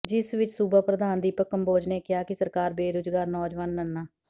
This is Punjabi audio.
ਜਿਸ ਵਿਚ ਸੂਬਾ ਪ੍ਰਧਾਨ ਦੀਪਕ ਕੰਬੋਜ਼ ਨੇ ਕਿਹਾ ਕਿ ਸਰਕਾਰ ਬੇਰੁਜ਼ਗਾਰ ਨੌਜਵਾਨਾਂ ਨ